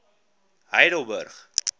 heidelburg